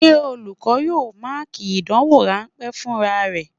Ṣé olùkọ́ yóò Máàkì ìdánwò rán pé fúnra rẹ?